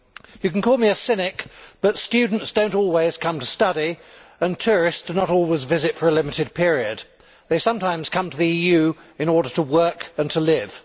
You can call me a cynic, but students do not always come to study and tourists do not always visit for a limited period. They sometimes come to the EU in order to work and to live.